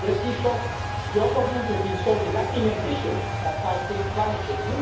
Yet, Taoiseach, your government has been sorely lacking ambition on tackling climate change.